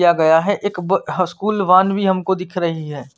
किया गया है एक ब स्कूल वान भी हमको दिख रही है।